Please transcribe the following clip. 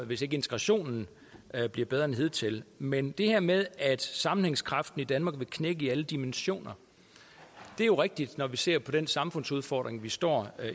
hvis ikke integrationen bliver bedre end hidtil men det her med at sammenhængskraften i danmark vil knække i alle dimensioner er jo rigtigt når vi ser på den samfundsudfordring vi står